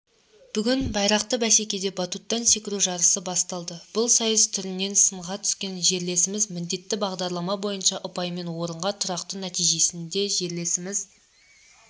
бүгін байрақты бәсекеде баттуттан секіру жарысы басталды бұл сайыс түрінен сынға түскен жерлесіміз міндетті бағдарлама бойынша ұпаймен орынға тұрақтады нәтижесінде жерлесіміз